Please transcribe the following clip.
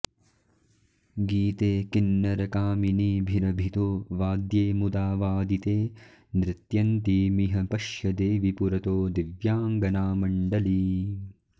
गीते किंनरकामिनीभिरभितो वाद्ये मुदा वादिते नृत्यन्तीमिह पश्य देवि पुरतो दिव्याङ्गनामण्डलीम्